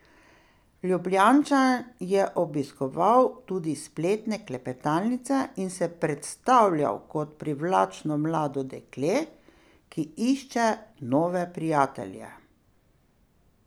Ljubljančan je obiskoval tudi spletne klepetalnice in se predstavljal kot privlačno mlado dekle, ki išče nove prijatelje.